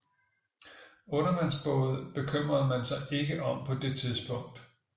Undervandsbåde bekymrede man sig ikke om på det tidspunkt